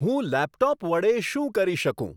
હું લેપટોપ વડે શું કરી શકું